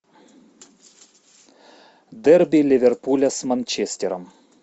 дерби ливерпуля с манчестером